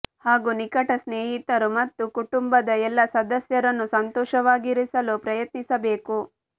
ಹಾಗೂ ನಿಕಟ ಸ್ನೇಹಿತರು ಮತ್ತು ಕುಟುಂಬದ ಎಲ್ಲಾ ಸದಸ್ಯರನ್ನು ಸಂತೋಷವಾಗಿರಿಸಲು ಪ್ರಯತ್ನಿಸಬೇಕು